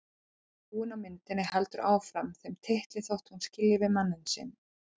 Frúin á myndinni heldur áfram þeim titli þótt hún skilji við mann sinn.